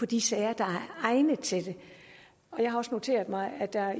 de sager der er egnet til det jeg har også noteret mig at der